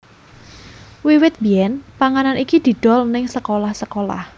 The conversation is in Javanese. Wiwit biyen panganan iki didol neng sekolah sekolah